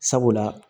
Sabula